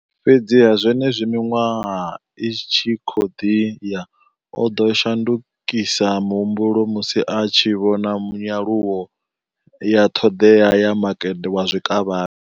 Fhedziha, zwenezwi miṅwaha i tshi khou ḓi ya, o ḓo shandukisa muhumbulo musi a tshi vhona nyaluwo ya ṱhoḓea ya makete wa zwikavhavhe.